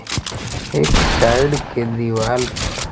एक साइड के दीवाल पर।